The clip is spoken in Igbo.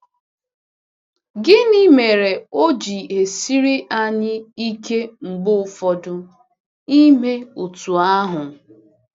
Gịnị mere o ji esiri anyị ike mgbe ụfọdụ ime otú ahụ?